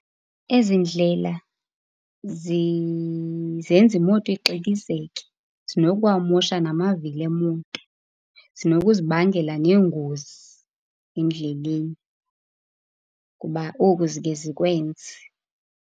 Ezi ndlela zenza imoto ixikizeke. Zinokuwamosha namavili emoto. Zinokuzibangela neengozi endleleni kuba oku zikhe zikwenze.